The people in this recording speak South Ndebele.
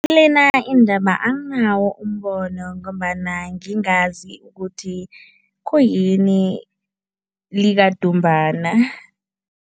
Lena indaba anginawo umbono ngombana ngingazi ukuthi khuyini likadumbana.